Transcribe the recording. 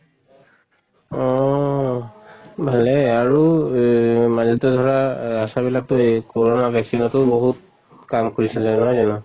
অহ ভালে আৰু এহ মাজতে ধৰা আহ ASHA বিলাক এহ কৰʼণা vaccine তো বহুত কাম কৰিছিলে নহয় জানো?